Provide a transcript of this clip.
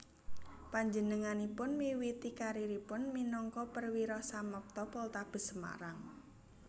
Panjenenganipun miwiti kariéripun minangka Perwira Samapta Poltabes Semarang